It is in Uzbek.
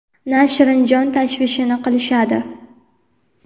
na shirin jon tashvishini qilishadi.